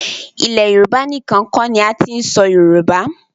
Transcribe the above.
Ilẹ̀ Yorùbá níkan kọ́ ni a ti ń sọ Yorùbá.